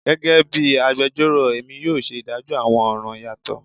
Gẹgẹbi agbẹjọro Emi yoo ṣe idajọ awọn ọran yatọ